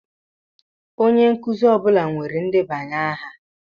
Onye nkuzi ọ bụla nwere ndebanye aha.